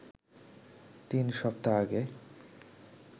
তিন সপ্তাহ আগে